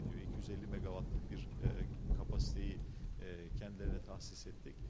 250 meqavatlıq bir eee gücü eee özlərinə təhsis etdik.